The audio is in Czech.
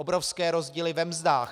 Obrovské rozdíly ve mzdách.